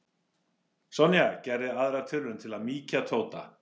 Sonja gerði aðra tilraun til að mýkja Tóta.